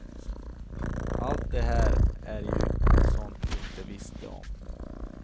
Allt det här är ju sånt du inte visste om.